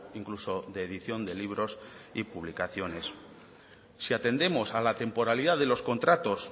incluso de edición de libros y publicaciones si atendemos a la temporalidad de los contratos